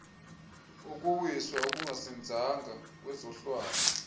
ukuwiswa okungazinzanga kwezohlwayo